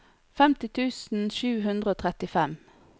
femti tusen sju hundre og trettifem